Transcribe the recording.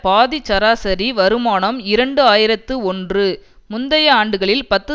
பாதிச் சராசரி வருமானம் இரண்டு ஆயிரத்து ஒன்று முந்தைய ஆண்டுகளில் பத்து